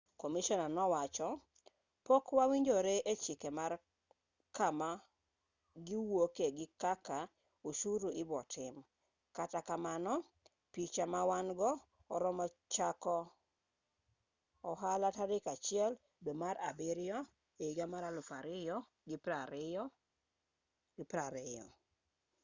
komishona nowacho pok wawinjore e chike mar kama giwuoke gi kaka oshuru ibotim kata kamano picha mawan-go oromo chako ohala tarik 1 dwe mar abiriyo ehiga 2020